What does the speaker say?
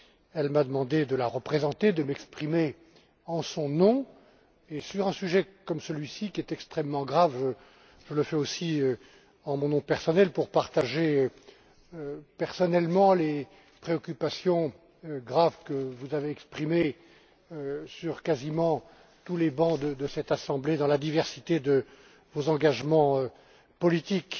Elle m'a demandé de la représenter, de m'exprimer en son nom et, sur un sujet comme celui ci qui est extrêmement grave, je le fais aussi en mon nom personnel pour partager les préoccupations graves que vous avez exprimées sur quasiment tous les bancs de cette Assemblée, dans la diversité de vos engagements politiques.